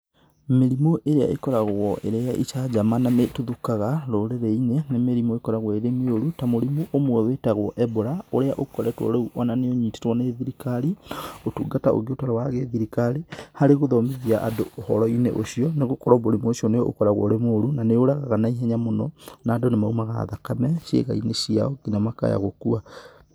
Mĩrĩmũ ĩria ĩkoragwo ĩrĩ ya ĩcanjama na nĩ ĩtuthũkaga rũrĩrĩ-inĩ nĩ mĩrĩmũ ĩkoragwo ĩrĩ mĩũru ta mũrĩmũ ũmwe wĩtagwo Ebola ũrĩa ũkoretwo rĩu ona nĩ ũnyitĩtwo nĩ thirikari, ũtungata ũngĩ ũtarĩ wa gĩthirikari harĩ gũthomithia andũ ũhoro-inĩ ũcio, nĩ gũkorwo mũrimũ ũcio nĩ ũkoragwo ũrĩ mũru na nĩ ũragaga na ihenya mũno na andũ nĩ maumaga thakame cĩaga-inĩ ciao na makaya gũkua.